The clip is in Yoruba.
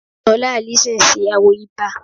Ṣola Allyson ṣe àwo 'Iba'